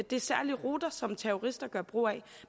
det er særlige ruter som terrorister gør brug af